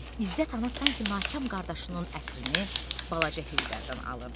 İzzət ana sanki nakam qardaşının ətrini balaca Heydərdən alırdı.